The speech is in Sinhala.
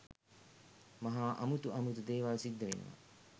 මහා අමුතු අමුතු දේවල් සිද්ධ වෙනවා